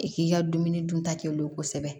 I k'i ka dumuni dunta kɛ olu ye kosɛbɛ